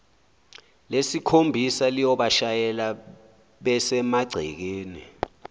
lesikhombisa liyobashayela besemagcekeni